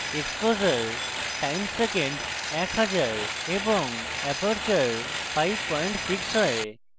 exposure time সেকেন্ডে এক হাজার এবং অ্যাপারচার 56 হয়